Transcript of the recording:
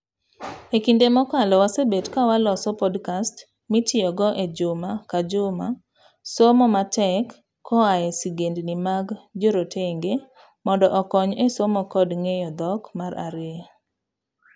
Ekinde mokalo wasebet ka waloso podcast mitiyogo ejuma kajuma somo matek koa e sigendni mag jorotenge mondo okony e somo kod ng'eyo dhok mar ariyo.